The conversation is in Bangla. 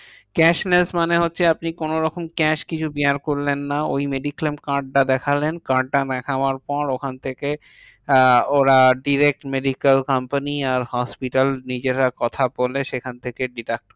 Cash less মানে হচ্ছে আপনি কোনোরকম cash কিছু bear করলেন না। ওই mediclaim card টা দেখালেন। card টা দেখাবার পর ওখান থেকে আহ ওরা direct medical company আর hospital নিজেরা কথা বলে, সেখান থেকে deduct